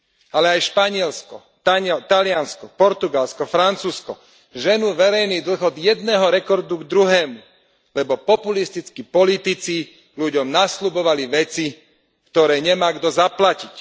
Ale aj Španielsko, Taliansko, Portugalsko, Francúzsko ženú verejný dlh od jedného rekordu k druhému, lebo populistickí politici ľuďom nasľubovali veci, ktoré nemá kto zaplatiť.